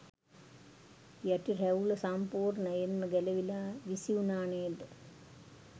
යටි රැවුල සම්පුර්ණයෙන්ම ගැලවිලා විසිවුණා නේද.